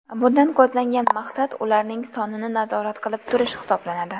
Bundan ko‘zlangan maqsad ularning sonini nazorat qilib turish hisoblanadi.